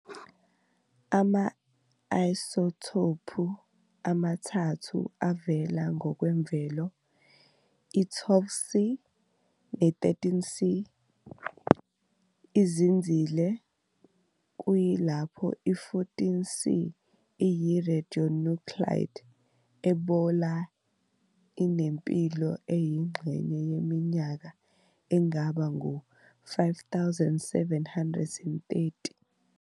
Ama-isotopu amathathu avela ngokwemvelo, i-12C ne-13C izinzile, kuyilapho i-14C iyi-radionuclide, ebola inempilo eyingxenye yeminyaka engaba ngu-5 730.